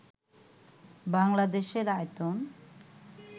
বাংলাদেশের আয়তন